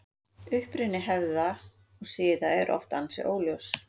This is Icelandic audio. Uppruni hefða og siða er oft ansi óljós.